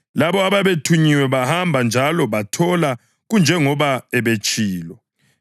Labo ababethunyiwe bahamba njalo bathola kunjengoba ebetshilo.